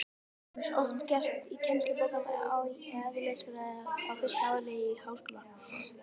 Það er til dæmis oft gert í kennslubókum í eðlisfræði á fyrsta ári í háskóla.